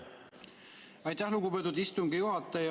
Aitäh, lugupeetud istungi juhataja!